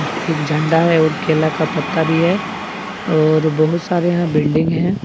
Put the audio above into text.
एक झंडा है और केला का पत्ता भी है और बहुत सारे यहां बिल्डिंग है।